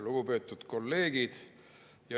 Lugupeetud kolleegid!